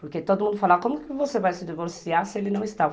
Porque todo mundo fala, como você vai se divorciar se ele não está?